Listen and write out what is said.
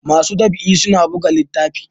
masu ɗab'i suna biga littafi